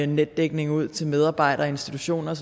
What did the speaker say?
netdækning ud til medarbejdere og institutioner og